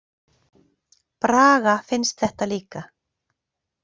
Braga finnst þetta líka.